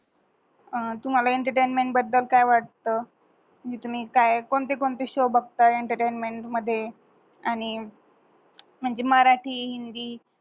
आह तुम्हाल एंटरटेनमेंट बद्दल काय वाटत, तुम्ही काय कोणती कोणती शो बगता एंटरटेनमेंट मधे आणि म्हंजे मराटी, हिंदी